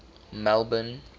melbourne